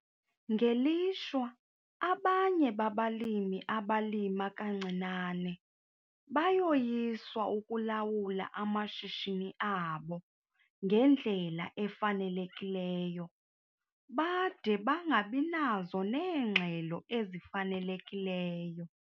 Ngelishwa, abanye babalimi abalima kancinane bayoyiswa ukulawula amashishini abo ngendlela efanelekileyo bade bangabi nazo neengxelo ezifanelekileyo.